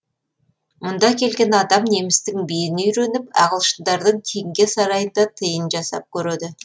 мұнда келген адам немістің биін үйреніп ағылшындардың теңге сарайында тиын жасап көреді